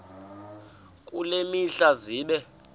kule mihla zibe